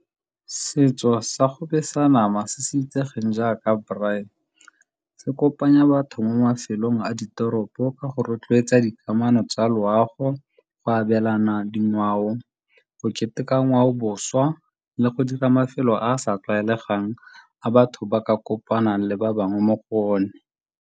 Setso sa go besa nama se se itsegeng jaaka braai se kopanya batho mo mafelong a ditoropo ka go rotloetsa dikamano tsa loago, go abelana dingwao, go keteka ngwaoboswa le go dira mafelo a a sa tlwaelegang a batho ba ka kopanang le ba bangwe mo go one.